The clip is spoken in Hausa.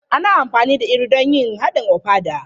Ana amfani da Iru don yin haɗin ofada.